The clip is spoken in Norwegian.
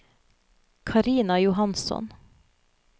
Carina Johansson